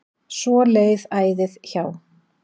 Svo leið æðið hjá.